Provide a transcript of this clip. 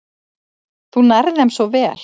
Þú nærð þeim svo vel.